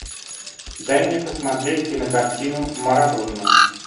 дай мне посмотреть кинокартину марадона